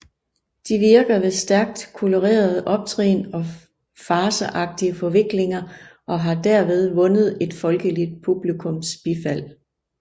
De virker ved stærkt kolorerede optrin og farceagtige forviklinger og har derved vundet et folkeligt publikums bifald